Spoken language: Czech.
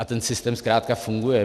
A ten systém zkrátka funguje.